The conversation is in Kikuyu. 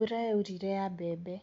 Mbũra yaurire ya mbebe.